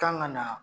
Kan ka na